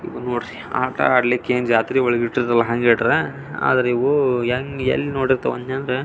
ನೋಡ್ರಿ ಆಟ ಆಡ್ಲಿಕೆ ಏನ್ ಜಾತ್ರೆ ಒಳಗೆ ಇಟ್ಟಿರ್ತಾರ್ ಹೆಂಗ್ ಇಟ್ರೆ ಆದ್ರೆ ಇವು ಹೆಂಗೆ ಎಲ್ಲಿ ನೋಡಿರ್ತವೆ ಅಂದ್ರೆ --